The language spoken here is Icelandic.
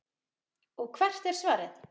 Og hvert er svarið?